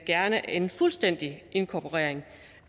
gerne en fuldstændig inkorporering